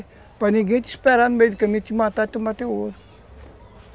Para ninguém te esperar no meio do caminho e te matar, e tomar o teu ouro.